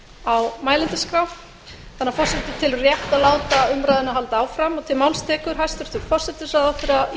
á mælendaskrá þannig að forseti telur rétt að láta umræðuna halda áfram